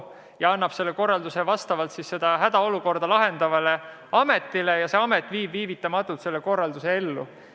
Seejärel annab valitsus korralduse seda hädaolukorda lahendavale ametile ja see amet viib neile antud korralduse viivitamatult ellu.